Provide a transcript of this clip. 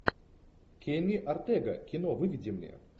кенни ортега кино выведи мне